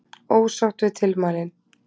Ósátt við tilmælin